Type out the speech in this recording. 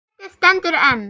Metið stendur enn.